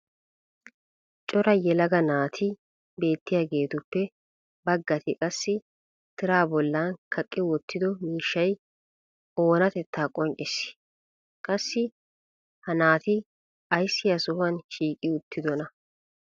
cora yelaga naatti beettiyaageetuppe bagatti qassi tiraa bollan kaqqi wottido miishshay o oonatettaa qonccissii? qassi ha naati ayssi ha sohuwan shiiqqi uttidonaa?